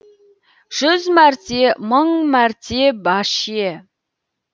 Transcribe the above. жүз мәрте мың мәрте баше